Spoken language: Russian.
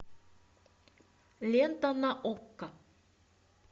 лента на окко